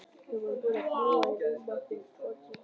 Þau voru búin að fljúga í rúma tvo tíma.